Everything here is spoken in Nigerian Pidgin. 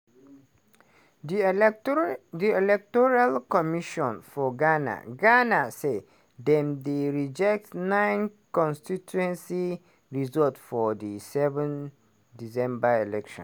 di electoral di electoral commission for ghana ghana say dem dey reject nine constituency results for di 7 december election